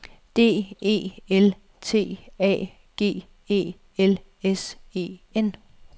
D E L T A G E L S E N